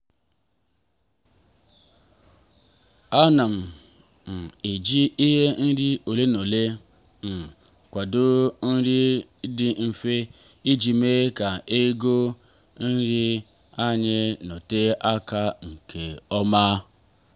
ana m um eji ihe nri ole n'ole um kwadoo nri dị mfe iji mee ka ego nri anyị nọtee aka nke ọma.